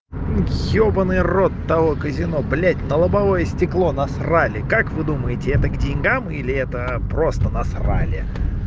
ёбаный рот того казино блять на лобовое стекло насрали как вы думаете это к деньгам или это просто насрали